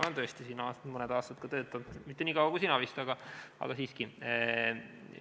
Olen tõesti siin mõne aasta töötanud, mitte nii kaua kui sina vist, aga siiski.